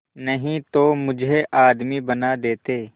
नहीं तो मुझे आदमी बना देते